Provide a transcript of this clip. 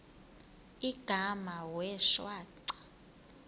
igama wee shwaca